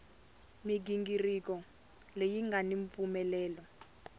mighingiriko leyi nga ni mpfumelelo